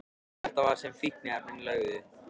Það var þetta sem fíkniefnin löguðu.